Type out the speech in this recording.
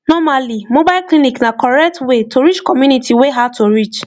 normally mobile clinic na correct way to reach community wey hard to reach